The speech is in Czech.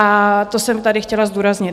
A to jsem tady chtěla zdůraznit.